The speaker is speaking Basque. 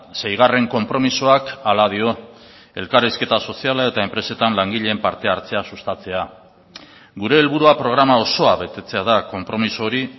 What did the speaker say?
seigarren konpromisoak hala dio elkarrizketa soziala eta enpresetan langileen parte hartzea sustatzea gure helburua programa osoa betetzea da konpromiso hori